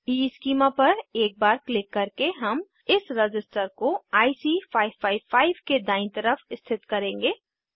schema पर एक बार क्लिक करके हम इस रज़िस्टर को आईसी 555 के दायीं तरफ स्थित करेंगे